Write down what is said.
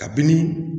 Kabini